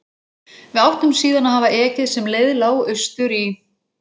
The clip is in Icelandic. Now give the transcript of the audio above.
Við áttum síðan að hafa ekið sem leið lá austur í